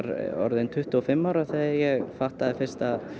orðinn tuttugu og fimm ára þegar ég fattaði fyrst að